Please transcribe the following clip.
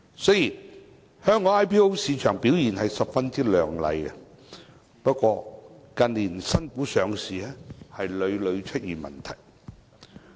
雖然香港 IPO 市場的表現十分亮麗，不過，近年新股上市屢屢出現問題。